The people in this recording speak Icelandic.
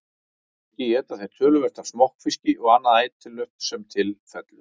Þar að auki éta þeir töluvert af smokkfiski og annað ætilegt sem til fellur.